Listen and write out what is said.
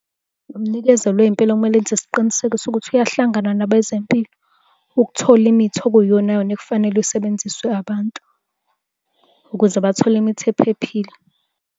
Umnikezeli wey'mpilo okumele enze isiqiniseko sokuthi uyahlangana nabezempilo ukuthola imithi okuyiyonayona ekufanele isebenziswe abantu ukuze bathole imithi ephephile.